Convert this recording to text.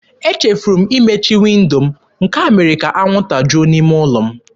Echefuru m imechi windo m, nke a mere ka anwụnta juo n'ime ụlọ m.